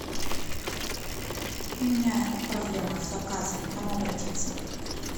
у меня проблема с заказом к кому обратиться